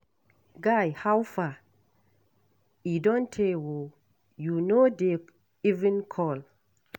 Guy howfar, e don tey oo, you no dey even call.